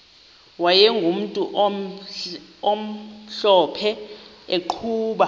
wayegumntu omhlophe eqhuba